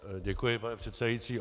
Děkuji, pane předsedající.